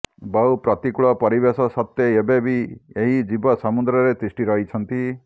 ବହୁ ପ୍ରତିକୂଳ ପରିବେଶ ସତ୍ତ୍ୱେ ଏବେବି ଏହି ଜୀବ ସମୁଦ୍ରରେ ତିଷ୍ଠି ରହିଛନ୍ତି